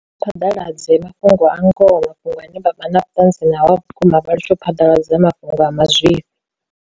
Phaḓaladze mafhungo a ngoho mafhungo ane vha vha na vhutanzi nao a vhukuma vha litsho phaḓaladza mafhungo a mazwifhi.